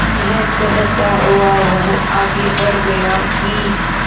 यह कहता हुआ वह आगे बढ़ गया कि